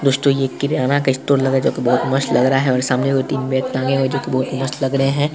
दोस्तों यह किराना का स्टोर लग रहा है जो की बहुत मस्त लग रहा है और सामने वो तीन बैग टंगे हैं जो की बहुत मस्त लग रहे है।